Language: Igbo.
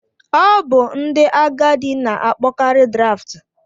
Ọ bụ ndị agadi na-akpọkarị Draft.